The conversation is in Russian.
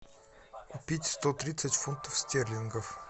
купить сто тридцать фунтов стерлингов